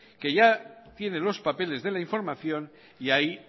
que ya tiene los papeles la información y ahí